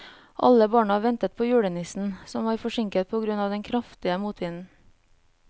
Alle barna ventet på julenissen, som var forsinket på grunn av den kraftige motvinden.